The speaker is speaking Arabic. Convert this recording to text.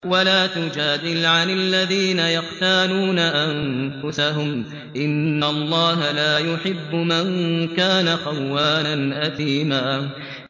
وَلَا تُجَادِلْ عَنِ الَّذِينَ يَخْتَانُونَ أَنفُسَهُمْ ۚ إِنَّ اللَّهَ لَا يُحِبُّ مَن كَانَ خَوَّانًا أَثِيمًا